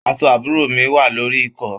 Aṣọ àbúrò mi wà lórí ìkọ́.